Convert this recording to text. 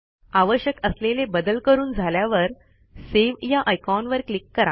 आवश्यक असलेले बदल करून झाल्यावर सेव्ह या आयकॉनवर क्लिक करा